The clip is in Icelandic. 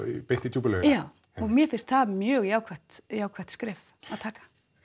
beint í djúpu laugina já og mér finnst það mjög jákvætt jákvætt skref að taka